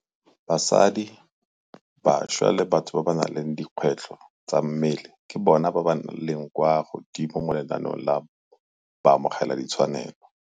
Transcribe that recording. Basadi, bašwa le batho ba ba nang le dikgwetlho tsa mmele ke bona ba ba leng kwa godimo mo lenaneong la baamogeladitshwanelo.